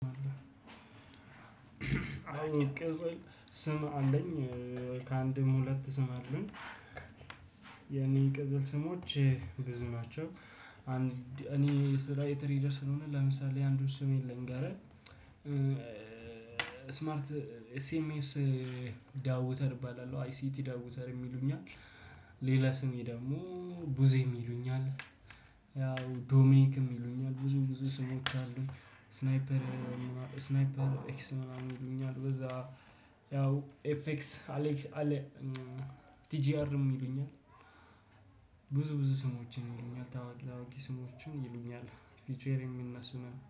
አዎ ቅጽል ስም አለኝ። ከ አንድም ሁለት ስም አሉኝ። የኔ ቅጽል ስሞች ብዙ ናቸው። እኔ ስራዬ ትሬደር ስለሆነ ለምሳሌ አንዱን ስሜን ልንገርህ። ስማርት ኤስኤምኤስ ዳውተር እባላለሁ አይሲቲ ዳውተርም ይሉኛል። ሌላ ስሜ ደግሞ ቡዜም ይሉኛል። ያው ዶሚኒክም ይሉኛል ብዙ ብዙ ስሞች አሉኝ። ስናይፐር ስናይፐር ኤክስ ምናምን ይሉኛል በዛ። ያው ኤፍኤክስ አሌክ አሌ ቲጂአርም ይሉኛል። ብዙ ብዙ ስሞችን ይሉኛል ታዋቂ ታዋቂ ስሞችን ይሉኛል። ቪቼዌር የሚነሱ ነው